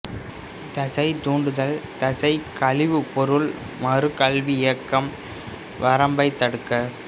தசை தூண்டுதல் தசை கழிவுப்பொருள் மறு கல்வி இயக்கம் வரம்பை தடுக்க